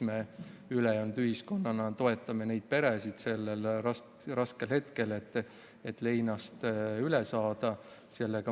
Me ülejäänud ühiskonnana toetame neid peresid sellel raskel hetkel, et leinast üle saada.